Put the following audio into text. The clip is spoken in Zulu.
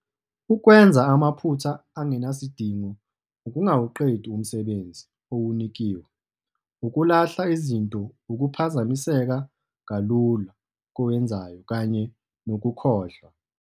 .ukwenza amaphutha angenasidingo ukungawuqedi umsebenzi owunikiwe ukulahla izinto ukuphazamiseka kalula kowenzayo kanye nokukhohlwa.